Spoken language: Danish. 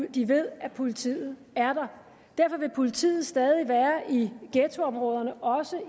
at de ved at politiet er der derfor vil politiet stadig være i ghettoområderne også